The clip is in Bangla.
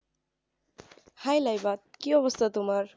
Hi লাইবা কি অবস্থা তোমার?